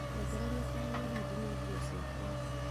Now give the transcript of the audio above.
nengereria kaheneri ndinie ngunyo ciakwa